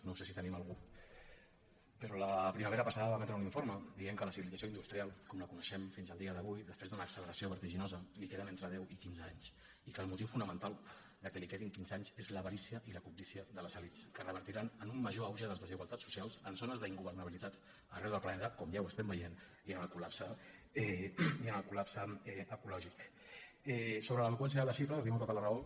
no sé si hi tenim algú però la primavera passada va emetre un informe en què deia que a la civilització industrial com la coneixem fins a dia d’avui després d’una acceleració vertiginosa li queden entre deu i quinze anys i que el motiu fonamental que li quedin quinze anys és l’avarícia i la cobdícia de les elits que revertiran en un major auge de les desigualtats socials en zones d’ingovernabilitat arreu del planeta com ja estem veient i en el col·sobre l’eloqüència de les xifres li dono tota la raó